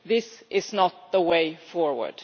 this is not the way forward.